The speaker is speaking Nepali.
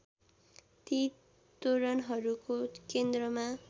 ती तोरणहरूको केन्द्रमा